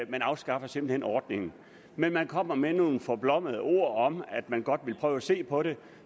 man afskaffer simpelt hen ordningen men man kommer med nogle forblommede ord om at man godt vil prøve at se på det